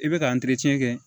I bɛ ka kɛ